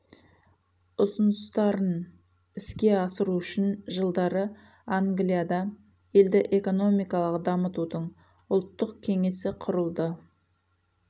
ұсыныстарын іске асыру үшін жылдары англияда елді экономикалық дамытудың ұлттық кеңесі құрылды